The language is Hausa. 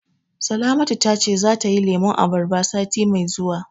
Salamatu ta ce zata yi lemun abarba sati mai zuwa.